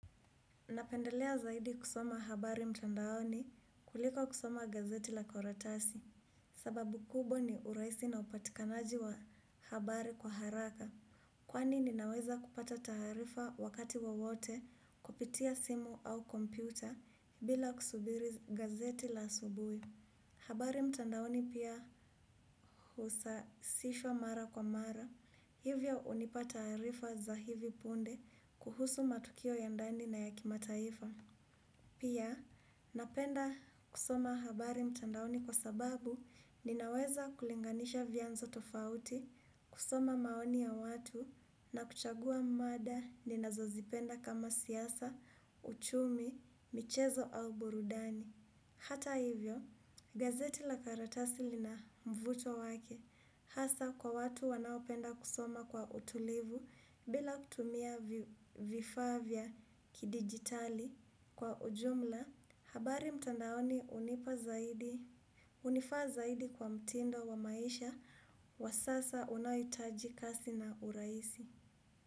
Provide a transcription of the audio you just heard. Napendelea zaidi kusoma habari mtandaoni kuliko kusoma gazeti la karatasi. Sababu kubwa ni urahisi na upatikanaji wa habari kwa haraka. Kwani nina weza kupata taarifa wakati wowote kupitia simu au kompyuta bila kusubiri gazeti la asubui. Habari mtandaoni pia husasishwa mara kwa mara. Hivyo hunipata taarifa za hivi punde kuhusu matukio ya ndani na yaki mataifa. Pia, napenda kusoma habari mtandaoni kwa sababu ninaweza kulinganisha vyanzo tofauti, kusoma maoni ya watu na kuchagua mada ninazo zipenda kama siasa, uchumi, michezo au burudani. Hata hivyo, gazeti la karatasi lina mvuto wake hasa kwa watu wanaopenda kusoma kwa utulivu bila kutumia vifaa vya kidigitali. Kwa ujumla, habari mtandaoni hunipa zaidi hunifa zaidi kwa mtindo wa maisha wa sasa unaoitajika si na urahisi.